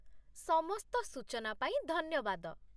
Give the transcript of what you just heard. ସମସ୍ତ ସୂଚନା ପାଇଁ ଧନ୍ୟବାଦ।